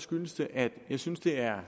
skyldes det at jeg synes det er